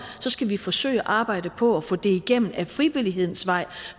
så skal vi forsøge at arbejde på at få det igennem ad frivillighedens vej